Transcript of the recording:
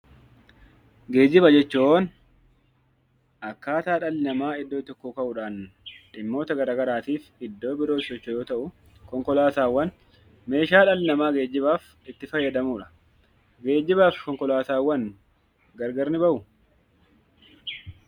Geejiba jechuun akkaataa dhalli namaa iddoo tokkoo ka'uudhaan dhimmoota garaagaraatiif iddoo birootti socho'u yoo ta'u, konkolaataawwan meeshaa dhalli namaa geejibaaf itti fayyadamuudha. Geejiba fi konkolaataawwan gargar ni bahuu?